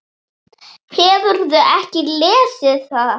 Hefurðu ekki lesið það!